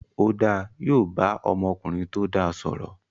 Ó dáa, yóò bá ọmọkùnrin tó dáa sọ̀rọ̀